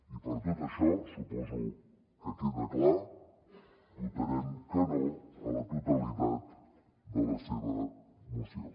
i per tot això suposo que queda clar votarem que no a la totalitat de la seva moció